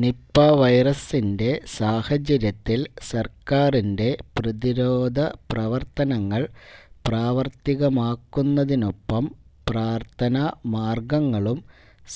Nipah വൈറസിന്റെ സാഹചര്യത്തില് സര്ക്കാറിന്റെ പ്രതിരോധ പ്രവര്ത്തനങ്ങള് പ്രാവര്ത്തികമാക്കുന്നതിനൊപ്പം പ്രാര്ഥനാ മാര്ഗങ്ങളും